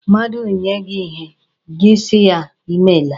Mmadụ nye gị ihe, gị si ya, Ị meela.